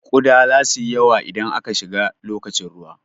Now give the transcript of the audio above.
Kuɗa zasu yi yawa idan aka shiga lokacin ruwa.